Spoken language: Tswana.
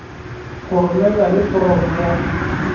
go romelwa le foromo ya